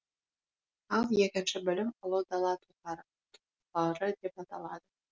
ал екінші бөлім ұлы дала тұлғалары деп аталады